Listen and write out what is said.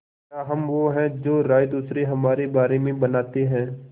क्या हम वो हैं जो राय दूसरे हमारे बारे में बनाते हैं